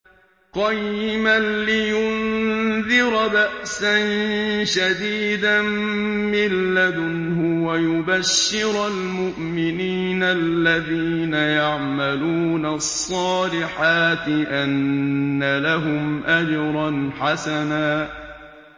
قَيِّمًا لِّيُنذِرَ بَأْسًا شَدِيدًا مِّن لَّدُنْهُ وَيُبَشِّرَ الْمُؤْمِنِينَ الَّذِينَ يَعْمَلُونَ الصَّالِحَاتِ أَنَّ لَهُمْ أَجْرًا حَسَنًا